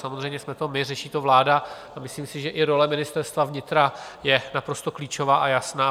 Samozřejmě jsme to my, řeší to vláda a myslím si, že i role Ministerstva vnitra je naprosto klíčová a jasná.